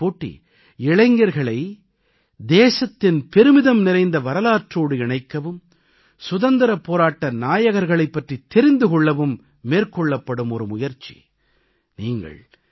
இந்த வினாவிடைப் போட்டி இளைஞர்களை தேசத்தின் பெருமிதம் நிறைந்த வரலாற்றோடு இணைக்கவும் சுதந்திரப் போராட்ட நாயகர்களைப் பற்றித் தெரிந்து கொள்ளவும் மேற்கொள்ளப்படும் ஒரு முயற்சி